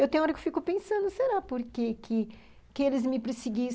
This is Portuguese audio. Eu, tem hora que eu fico pensando, será porque que que eles me perseguiam?